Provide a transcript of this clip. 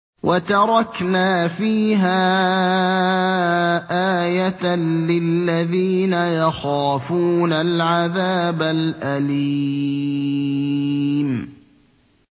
وَتَرَكْنَا فِيهَا آيَةً لِّلَّذِينَ يَخَافُونَ الْعَذَابَ الْأَلِيمَ